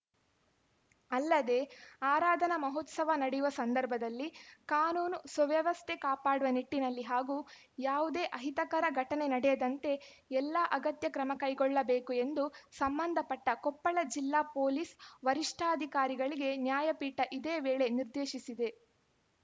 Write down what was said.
ಅಲ್ಲದೆ ಆರಾಧನಾ ಮಹೋತ್ಸವ ನಡೆಯುವ ಸಂದರ್ಭದಲ್ಲಿ ಕಾನೂನು ಸುವ್ಯಸ್ಥೆ ಕಾಪಾಡುವ ನಿಟ್ಟಿನಲ್ಲಿ ಹಾಗೂ ಯಾವುದೇ ಅಹಿತಕರ ಘಟನೆ ನಡೆಯದಂತೆ ಎಲ್ಲ ಅಗತ್ಯ ಕ್ರಮ ಕೈಗೊಳ್ಳಬೇಕು ಎಂದು ಸಂಬಂಧಪಟ್ಟಕೊಪ್ಪಳ ಜಿಲ್ಲಾ ಪೊಲೀಸ್‌ ವರಿಷ್ಠಾಧಿಕಾರಿಗಳಿಗೆ ನ್ಯಾಯಪೀಠ ಇದೇ ವೇಳೆ ನಿರ್ದೇಶಿಸಿದೆ